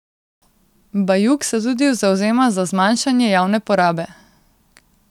Bajuk se tudi zavzema za zmanjšanje javne porabe.